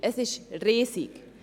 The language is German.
Es ist riesig.